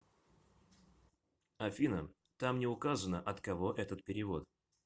афина там не указано от кого этот перевод